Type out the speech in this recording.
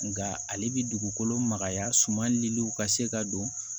Nka ale bɛ dugukolo magaya suma liw ka se ka don